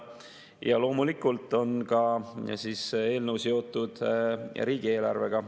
Ja loomulikult on eelnõu seotud riigieelarvega.